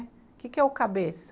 O que que é o cabeça?